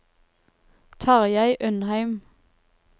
Tarjei Undheim